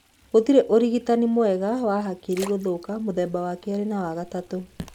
Gũtirĩ ũrigitani mwega wa hakiri gũthũka mũthemba wa kerĩ na wa gatatũ.